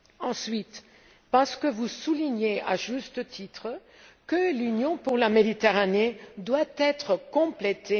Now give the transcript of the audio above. Ensuite, parce que vous soulignez, à juste titre, que l'Union pour la Méditerranée doit être complétée.